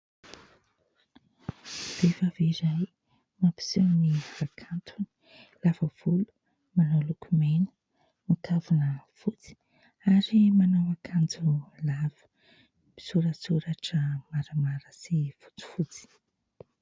Vehivavy iray mampiseho ny hakantony. Lava volo, manao lokomena, mikavina fotsy, ary manao akanjo lava misoratsoratra maramara sy fotsifotsy.